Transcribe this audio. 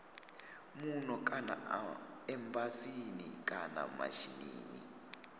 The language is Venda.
muno kana embasini kana mishinini